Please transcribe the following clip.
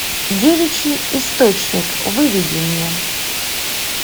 девичий источник выведи мне